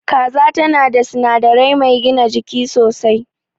Kaza tan da sinadari mai gina jiki sosai.